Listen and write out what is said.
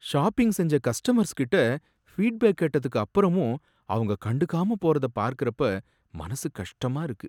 Shopping செஞ்ச கஸ்ட்டமர்ஸ்கிட்ட feedback கேட்டதுக்கு அப்பறமும் அவங்க கண்டுக்காம போறத பார்க்கறப்ப மனசு கஷ்டமா இருக்கு.